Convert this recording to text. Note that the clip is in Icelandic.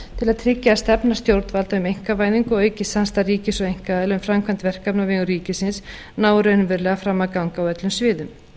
til að tryggja að stefna stjórnvalda um einkavæðingu og aukið samstarf ríkis og einkaaðila um framkvæmd verkefna á vegum ríkisins nái raunverulega fram að ganga á öllum sviðum